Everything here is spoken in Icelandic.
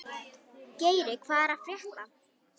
Geiri, hvað er að frétta?